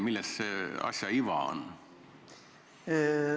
Mis see asja iva on?